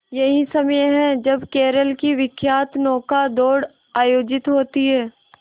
यही समय है जब केरल की विख्यात नौका दौड़ आयोजित होती है